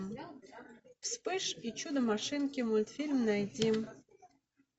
вспыш и чудо машинки мультфильм найди